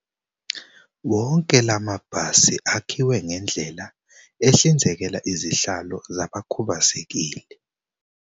Wonke la mabhasi akhiwe ngendlela ehlinzekela izihlalo zabakhu bazekile.